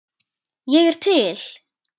Ég er til